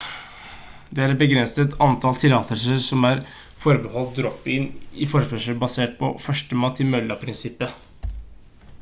det er et begrenset antall tillatelser som er forbeholdt drop-in-forespørsler basert på «førstemann til mølla»-prinsippet